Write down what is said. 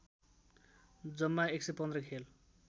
जम्मा ११५ खेल